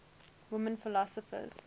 women philosophers